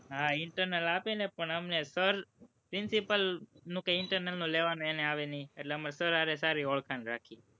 હા, internal આપે ને પણ sir principal નું internal નું કઈ એને લેવાનું કઈ આવે નહિ એટલે અમે sir સાથે સારી ઓળખાણ રાખીએ.